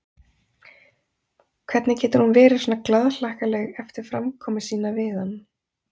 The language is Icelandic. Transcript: Hvernig getur hún verið svona glaðhlakkaleg eftir framkomu sína við hann?